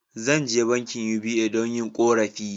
Zan je bankin UBA don yin korafi.